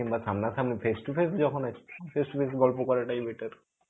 কিম্বা সামনা সামনি face to face যখন আছি face to face গল্প করাটাই better.